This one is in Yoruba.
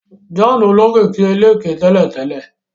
John olókìkí ẹlẹ̀kẹ tẹ́lẹ̀tẹ́lẹ̀